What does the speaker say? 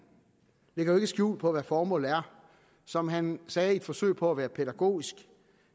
lægger ikke skjul på hvad formålet er som han sagde i et forsøg på at være pædagogisk